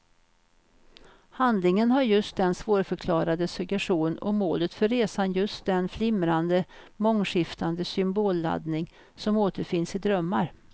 Handlingen har just den svårförklarade suggestion och målet för resan just den flimrande, mångskiftande symbolladdning som återfinns i drömmar.